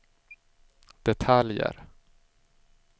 detaljer